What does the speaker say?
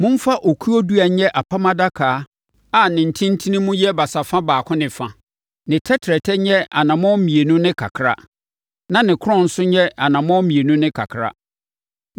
“Momfa okuo dua nyɛ Apam Adaka a ne ntentenemu yɛ basafa baako ne fa, ne tɛtrɛtɛ nyɛ anammɔn mmienu ne kakra na ne korɔn nso nyɛ anammɔn mmienu ne kakra.